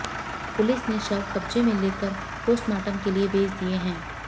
police ने शव कब्जे में ले लेकर पोस्टमार्टम के लिए भेज दिए हैं